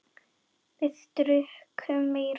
Við drukkum meira.